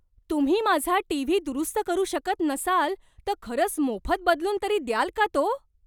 तुम्ही माझा टीव्ही दुरुस्त करू शकत नसाल तर खरंच मोफत बदलून तरी द्याल का तो?